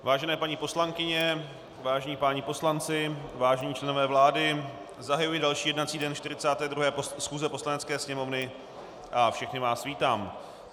Vážené paní poslankyně, vážení páni poslanci, vážení členové vlády, zahajuji další jednací den 42. schůze Poslanecké sněmovny a všechny vás vítám.